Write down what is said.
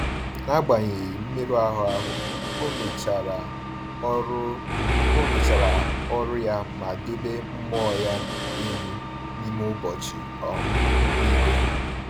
N’agbanyeghị mmerụ ahụ, ọ mechara ọrụ ọ mechara ọrụ ya ma debe mmụọ ya elu n’ime ụbọchị um niile.